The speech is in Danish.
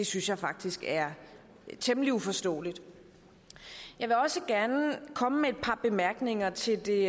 synes jeg faktisk er temmelig uforståeligt jeg vil også gerne komme med et par bemærkninger til det